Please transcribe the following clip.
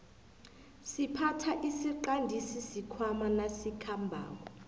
siphatha isiqandisi sikhwaama nasikhambako